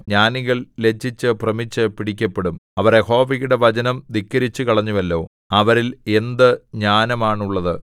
ജ്ഞാനികൾ ലജ്ജിച്ചു ഭ്രമിച്ചു പിടിക്കപ്പെടും അവർ യഹോവയുടെ വചനം ധിക്കരിച്ചുകളഞ്ഞുവല്ലോ അവരിൽ എന്ത് ജ്ഞാനമാണുള്ളത്